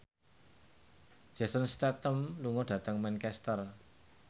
Jason Statham lunga dhateng Manchester